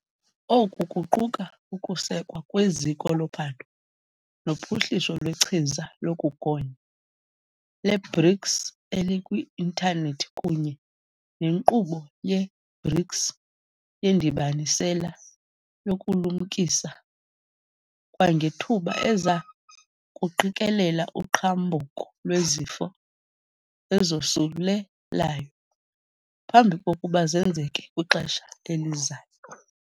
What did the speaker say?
Oku kuquka ukusekwa kweZiko loPhando noPhuhliso lweChiza lokuGonya le-BRICS elikwi-intanethi kunye neNkqubo ye-BRICS yeNdibanisela yokuLumkisa kwangeThuba eza kuqikelela uqhambuko lwezifo ezosule layo phambi kokuba zenzeke kwixesha elizayo.